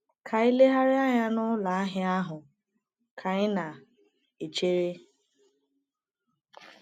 Ka anyị legharịa anya n’ụlọ ahịa ahụ ka anyị na - echere.